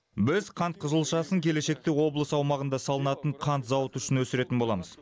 біз қант қызылшасын келешекте облыс аумағында салынатын қант зауыты үшін өсіретін боламыз